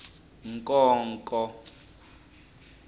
nkonko